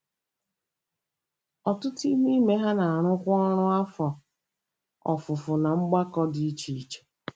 Ọtụtụ n’ime ha na-arụkwa ọrụ afọ ofufo ná mgbakọ dị iche iche.